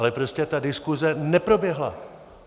Ale prostě ta diskuse neproběhla.